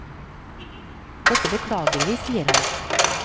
Dette beklager vi, sier han.